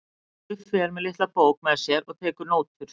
Guffi er með litla bók með sér og tekur nótur.